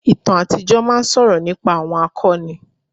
Ìtàn àtijọ́ máa ń sọ̀rọ̀ nípa àwọn akọni.